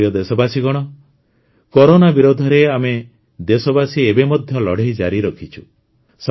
ମୋର ପ୍ରିୟ ଦେଶବାସୀଗଣ କରୋନା ବିରୋଧରେ ଆମେ ଦେଶବାସୀ ଏବେ ମଧ୍ୟ ଲଢ଼େଇ ଜାରି ରଖିଛୁ